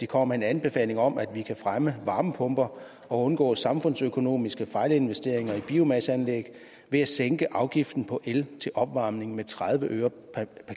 kommer med en anbefaling om at vi kan fremme varmepumper og undgå samfundsøkonomiske fejlinvesteringer i biomasseanlæg ved at sænke afgiften på el til opvarmning med tredive øre per